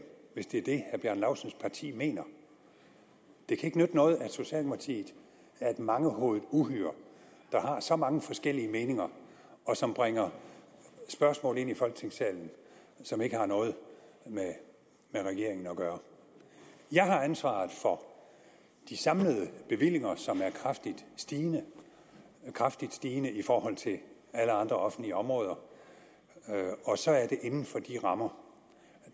hvis det er det herre bjarne laustsens parti mener det kan ikke nytte noget at socialdemokratiet er et mangehovedet uhyre der har så mange forskellige meninger og som bringer spørgsmål ind i folketingssalen som ikke har noget med regeringen at gøre jeg har ansvaret for de samlede bevillinger som er kraftigt stigende kraftigt stigende i forhold til alle andre offentlige områder og så er det inden for de rammer